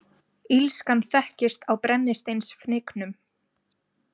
Illskan þekkist á brennisteinsfnyknum.